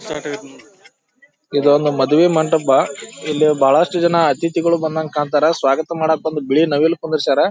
Start ಆಗೇತ್ ನೋಡ್ರಿ ಇದು ಒಂದು ಮದುವೆ ಮಂಟಪ ಇಲ್ಲಿ ಬಹಳಷ್ಟು ಜನ ಅತಿಥಿಗೂಳು ಬಂದಂಗ ಕಾಂಣ್ತಾರ ಸ್ವಾಗತ ಮಾಡಾಕ ಒಂದು ಬಿಳಿ ನವಿಲು ಕುಂದ್ರಸ್ಯಾರ .